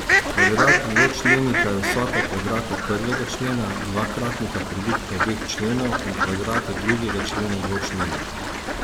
Kvadrat dvočlenika je vsota kvadrata prvega člena, dvakratnika produkta obeh členov in kvadrata drugega člena dvočlenika.